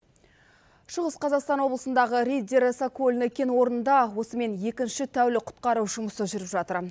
шығыс қазақстан облысындағы риддер сокольный кен орнында осымен екінші тәулік құтқару жұмысы жүріп жатыр